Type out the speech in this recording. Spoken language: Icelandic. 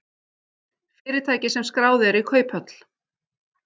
Fyrirtæki sem skráð eru í kauphöll